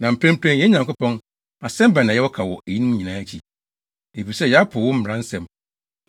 “Na mprempren, yɛn Nyankopɔn, asɛm bɛn na yɛwɔ ka wɔ eyinom nyinaa akyi? Efisɛ yɛapo wo mmara nsɛm